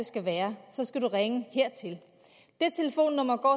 skal være så skal du ringe hertil det telefonnummer går